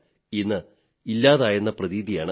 എല്ലാം ഇന്ന് ഇല്ലാതെയായെന്ന പ്രതീതിയാണ്